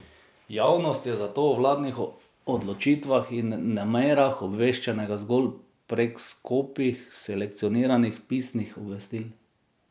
Javnost je zato o vladnih odločitvah in namerah obveščena zgolj prek skopih, selekcioniranih pisnih obvestil.